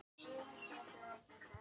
Óvíst að Þrengslin verði lýst